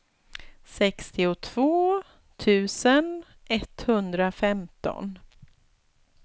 sextiotvå tusen etthundrafemton